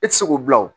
E ti se k'o bila o